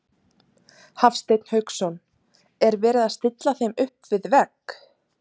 Hafsteinn Hauksson: Er verið að stilla þeim upp við vegg?